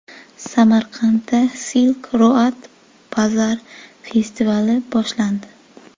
Samarqandda Silk Road Bazaar festivali boshlandi.